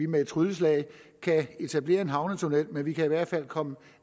med et trylleslag kan etablere en havnetunnel men man kan i hvert fald komme